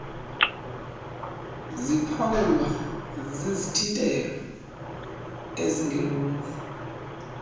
ziphawulwa zizithintelo ezingeloluhlu